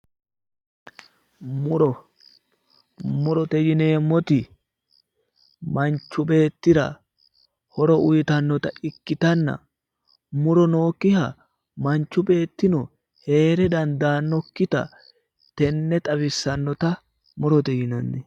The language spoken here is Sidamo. muro murote yineemmoti manchu beettira horo uyiitannote ikkitanna muro nookkiha manchu beettino heere dandaannokkita tenne xawissannota murote yinanni.